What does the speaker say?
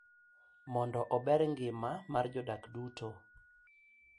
Mondo ober ngima mar jodak duto.